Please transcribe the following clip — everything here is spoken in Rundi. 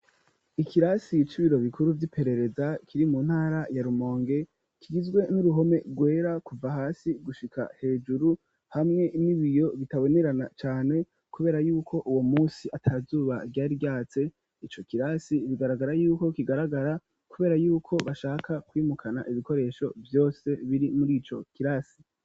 ikirasi c’ibiro bikuru vy'iperereza kiri mu ntara ya Rumonge kigizwe n'uruhome rwera kuva hasi gushika hejuru hamwe n'ibiyo bitabonerana cane kubera yuko uwo munsi atazuba ryari ryatse ico kirasi bigaragara yuko kigaragara kubera yuko bashaka kwimukana ibikoresho vyose biri muri ico kirasi.